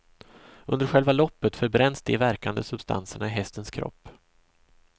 Under själva loppet förbränns de verkande substanserna i hästens kropp.